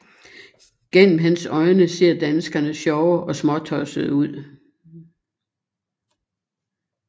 Gennem hans øjne ser danskerne sjove og småtossede ud